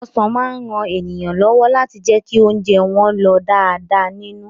Ọsàn máa ran èèyàn lọ́wọ́ láti jẹ́ kí ounjẹ́ wọ́n lọ̀ dáadáa nínú.